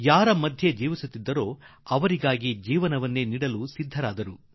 ಅವರ ನಡುವೆ ಬಂದಿದ್ದವರು ಅವರಿಗಾಗಿ ಪ್ರಾಣ ತ್ಯಾಗಕ್ಕೂ ಸಿದ್ಧರಾಗಿಬಿಟ್ಟರು